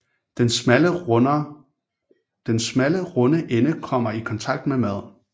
Den smalle runde ende kommer i kontakt med maden